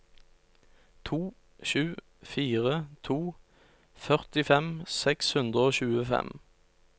to sju fire to førtifem seks hundre og tjuefem